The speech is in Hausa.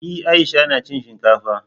E, Aisha tana cin shinkafa.